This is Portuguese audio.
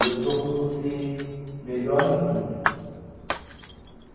E eu procuro ser melhor em tudo.